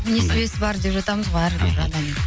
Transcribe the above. несібесі бар деп жатамыз ғой әрбір адамды